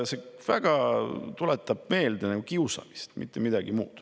See tuletab väga meelde kiusamist, mitte midagi muud.